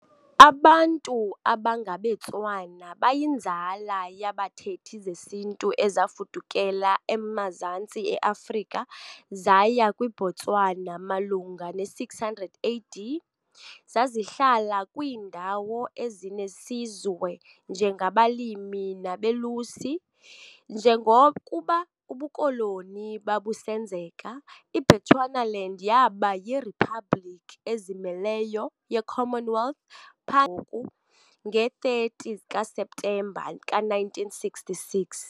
Abantu abangabeTswana bayinzala yabathethi zesiNtu ezafudukela emazantsi e-Afrika zaya kwiBotswana malunga ne-600 AD, zazihlala kwiindawo ezinesizwe njengabalimi nabelusi. Njengokuba ubuKoloni babusenzeka, iBechuanaland yaba yiriphabliki ezimeleyo ye- Commonwealth pha ngoku nge-30 kaSeptemba ka-1966.